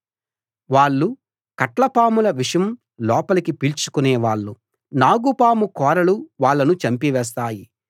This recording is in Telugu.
వాళ్ళు కట్లపాముల విషం లోపలికి పీల్చుకునేవాళ్ళు నాగుపాము కోరలు వాళ్ళను చంపివేస్తాయి